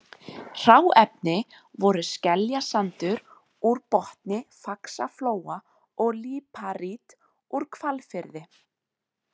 Hráefni voru skeljasandur úr botni Faxaflóa og líparít úr Hvalfirði.